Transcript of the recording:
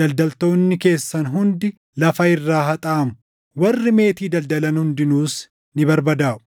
daldaltoonni keessan hundi lafa irraa haxaaʼamu; warri meetii daldalan hundinuus ni barbadaaʼu.